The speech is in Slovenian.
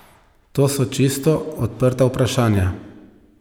To so čisto odprta vprašanja.